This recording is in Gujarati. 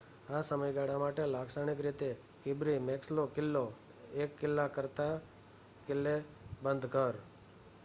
આ સમયગાળા માટે લાક્ષણિક રીતે કિર્બી મેક્સલો કિલ્લો એક કિલ્લા કરતાં કિલ્લેબંધ ઘર